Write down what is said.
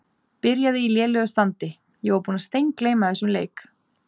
Byrjaði í lélegu standi Ég var búinn að steingleyma þessum leik.